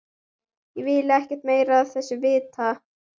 Ég vil ekkert meira af þessu vita.